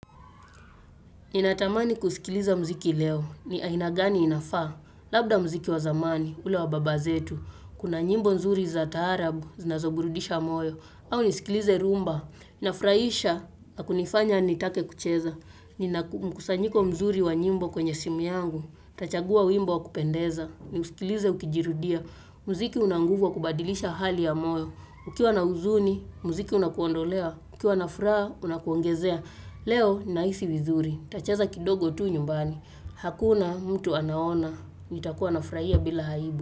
Ninatamani kusikiliza muziki leo. Ni aina gani inafaa. Labda muziki wa zamani, ule wa baba zetu. Kuna nyimbo nzuri za taarabu, zinazoburudisha moyo. Au nisikilize rhumba. Inafurahisha na kunifanya nitake kucheza. Nina mkusanyiko mzuri wa nyimbo kwenye simu yangu. Tachagua wimbo wa kupendeza. Niusikilize ukijirudia, muziki una nguvu wa kubadilisha hali ya moyo, ukiwa na huzuni, muziki unakuondolea, ukiwa na furaha, unakuongezea, leo nahisi vizuri, nitacheza kidogo tu nyumbani, hakuna mtu anaona, nitakuwa nafurahia bila aibu.